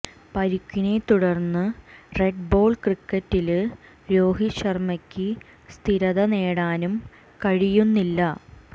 പരുക്കിനെ തുടര്ന്ന് red ball ക്രിക്കറ്റില് രോഹിത് ശര്മ്മയ്ക്ക് സ്ഥിരത നേടാനും കഴിയുന്നില്ല